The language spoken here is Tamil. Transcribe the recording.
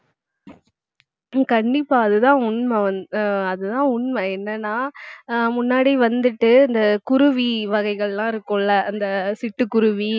ஏ கண்டிப்பா அதுதான் உண்மை வந்~ அஹ் அதுதான் உண்மை என்னன்னா அஹ் முன்னாடி வந்துட்டு இந்த குருவி வகைகள் எல்லாம் இருக்கும்ல அந்த சிட்டுக்குருவி